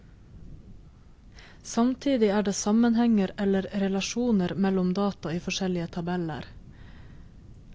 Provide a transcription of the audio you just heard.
Samtidig er det sammenhenger, eller relasjoner, mellom data i forskjellige tabeller.